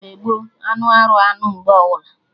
Mgbe gboo, anụ arụ anụ mgbe ọbụla